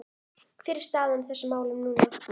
Hver er staðan á þessum málum núna?